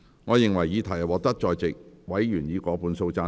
我認為議題獲得在席委員以過半數贊成。